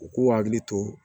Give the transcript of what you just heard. U k'u hakili to